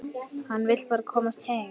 Hann vill bara komast heim.